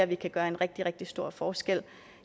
vi kan gøre en rigtig rigtig stor forskel